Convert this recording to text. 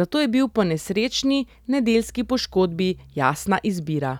zato je bil po nesrečni nedeljski poškodbi jasna izbira.